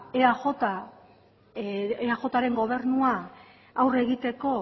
eajren gobernua aurre egiteko